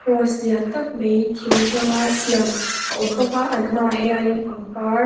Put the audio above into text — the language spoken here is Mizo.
cross lian tak mai thing hlang a siam a awm bawk a an hmaah hianin pangpar--